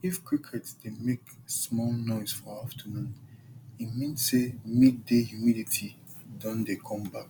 if cricket dey make small noise for afternoon e mean say midday humidity don dey come back